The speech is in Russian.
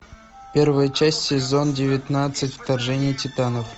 первая часть сезон девятнадцать вторжение титанов